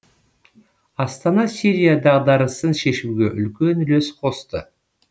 астана сирия дағдарысын шешуге үлкен үлес қосты